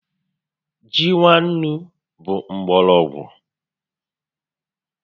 Ji nwa ńnú bụ mgbọrọgwụ